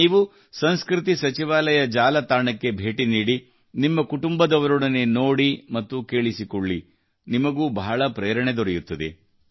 ನೀವು ಸಂಸ್ಕೃತಿ ಸಚಿವಾಲಯ ಜಾಲತಾಣಕ್ಕೆ ಭೇಟಿ ನೀಡಿ ನಿಮ್ಮ ಕುಟುಂಬದವರೊಡನೆ ನೋಡಿ ಮತ್ತು ಕೇಳಿಸಿಕೊಳ್ಳಿ ನಿಮಗೆ ಬಹಳ ಪ್ರೇರಣೆ ದೊರೆಯುತ್ತದೆ